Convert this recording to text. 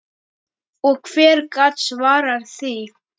Og hver gat svarað því?